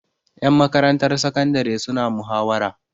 Ƴan makarantar sakandare suna muhawara.